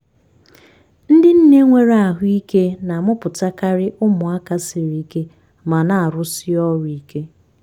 ndị nne nwere ahụike na-amụpụtakari ụmụaka siri ike ma na-arụsi ọrụ ike.